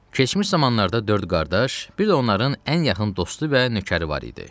Keçmiş zamanlarda dörd qardaş, bir də onların ən yaxın dostu və nökəri var idi.